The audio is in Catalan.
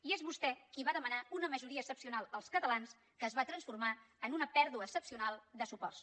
i és vostè qui va demanar una majoria excepcional als catalans que es va transformar en una pèrdua excepcional de suports